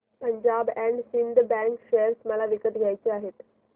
Punjab and Sindh bank share मला विकत घ्यायचे आहेत